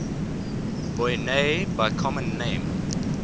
boinae by common name